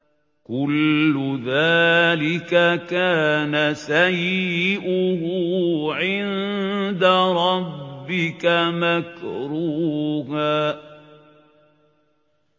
كُلُّ ذَٰلِكَ كَانَ سَيِّئُهُ عِندَ رَبِّكَ مَكْرُوهًا